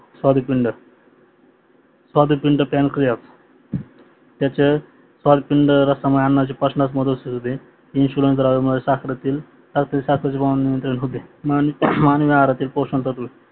स्वादुपिंड स्वादुपिंड पेनक्रीया त्याचे स्वादुपिंड रासमुडे यांचे पचणात मदत होत इन्सुलिन द्रावमुळे साखरेतील साखरेचे प्रमाण इन्क्रीज होते आणि हाडातील पोषणतत्व